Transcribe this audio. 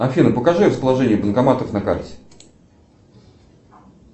афина покажи расположение банкоматов на карте